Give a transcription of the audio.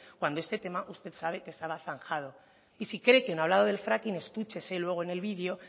cuando este tema usted sabe que estaba zanjado y si cree que no ha hablado del fracking escúchese luego en el video